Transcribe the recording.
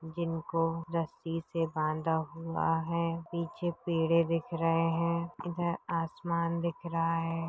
जिनको रस्सी से बांधा हुआ है पीछे पड़े दिख रहे है इधर आसमान दिख रहा है।